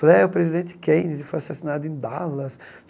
Falei, é o presidente Kennedy foi assassinado em Dallas.